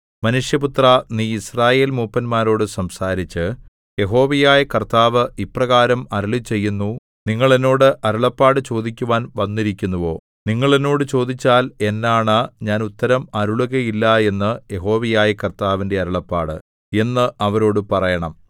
മനുഷ്യപുത്രാ നീ യിസ്രായേൽമൂപ്പന്മാരോടു സംസാരിച്ച് യഹോവയായ കർത്താവ് ഇപ്രകാരം അരുളിച്ചെയ്യുന്നു നിങ്ങൾ എന്നോട് അരുളപ്പാട് ചോദിക്കുവാൻ വന്നിരിക്കുന്നുവോ നിങ്ങൾ എന്നോട് ചോദിച്ചാൽ എന്നാണ ഞാൻ ഉത്തരം അരുളുകയില്ല എന്ന് യഹോവയായ കർത്താവിന്റെ അരുളപ്പാട് എന്ന് അവരോടു പറയണം